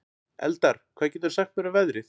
Eldar, hvað geturðu sagt mér um veðrið?